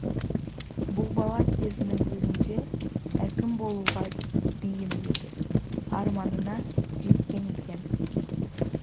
бұл бала кезінің өзінде әкім болуға бейім еді арманына жеткен екен